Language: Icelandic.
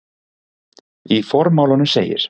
Í formálanum segir